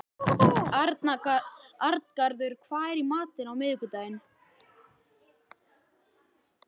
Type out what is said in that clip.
Arngarður, hvað er í matinn á miðvikudaginn?